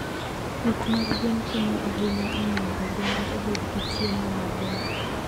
Pith mag gwen konyo ahinya e miyo oganda obed gi chiemo maber.